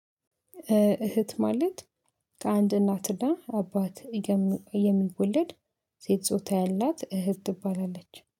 እህት ማለት ከአንድ እናትና አባት የሚወለድ ሴት ጾታ ያላት እህት ትባላለች